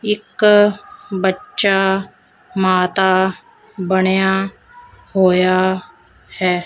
ਇੱਕ ਬੱਚਾ ਮਾਤਾ ਬਣਿਆ ਹੋਇਆ ਹੈ।